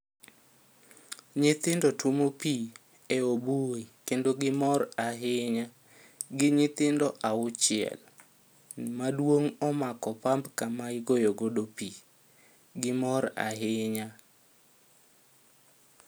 Nyithindo tuomo pii e obui kendo gimor ahinya. Gin nyithindo auchiel. Maduong' omako pump kama igoyo godo pii, Gimor ahinya